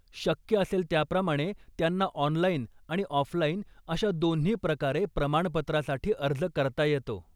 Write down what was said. शक्य असेल त्याप्रमाणे त्यांना ऑनलाइन आणि ऑफलाइन अशा दोन्ही प्रकारे प्रमाणपत्रासाठी अर्ज करता येतो.